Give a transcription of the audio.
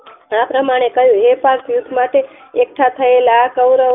આ પ્રમાણે કહ્યું હે પાર્થ યુદ્ધ માટે એકઠા થયેલા આ કોવરવો